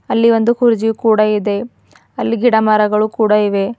ಅಲ್ಲಿ ಒಂದು ಕುರ್ಚಿಯು ಕೂಡ ಇದೆ ಅಲ್ಲಿ ಗಿಡಮರಗಳು ಕೂಡ ಇವೆ.